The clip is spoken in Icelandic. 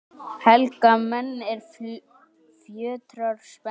Helga menn, er fjötrar spenna